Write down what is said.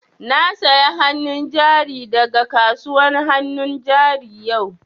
Na saya hannu jari da ga kasuwan hannun jari yau